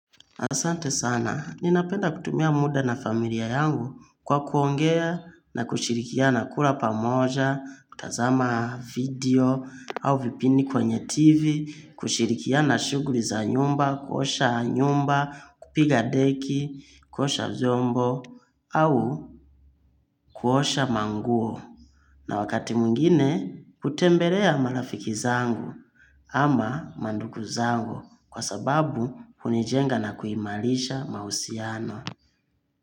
Asante sana, ninapenda kutumia muda na familia yangu kwa kuongea na kushirikia na kula pamoja, kutazama video au vipindi kwenye tv, kushirikia na shuguri za nyumba, kuosha nyumba, kupiga deki, kuosha viombo au kuosha manguo. Na wakati mungine, kutembelea marafiki zangu ama manduku zangu kwa sababu unijenga na kuimalisha mausiano.